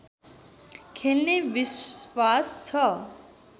खेल्ने विश्वास छ